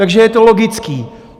Takže je to logické.